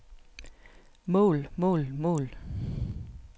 mål mål mål